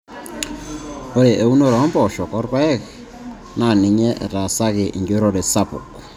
Ore eunore oo mpoosho orpaek aa MD naaninye etaasaki enjurrore sapuk nedoli aajo keeta tofauti o rpayek ompoosho aa MS.